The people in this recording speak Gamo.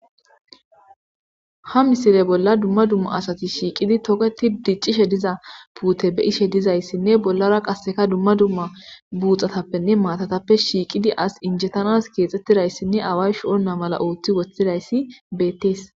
Ha misile bolla dumma dumma asati shiiqidi togeti diccishe diza puute be ishe dizayssinne bollara qasseka dumma dumma buuxatappenne maatatappe shiiqidi as injetanas keexxettidayssinne away sho'onna mala ooththi woththidayssi beettees.